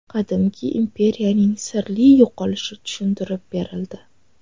Qadimgi imperiyaning sirli yo‘qolishi tushuntirib berildi.